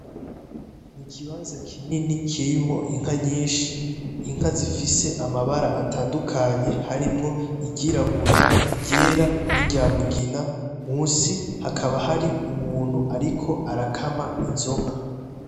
Niciyonza cinini cirimo inka nyinshi inka zifise amabara atandukanye harimo iryirabura iryera niryamugina munsi hakaba hari umuntu ariko arakama izonka.